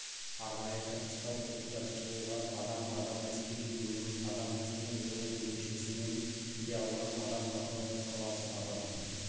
арнайы тактикалық оқу-жаттығуға адам адам әскери бөлім адам темір жол бөлімшесімен филиалынан адам атырау қаласы адам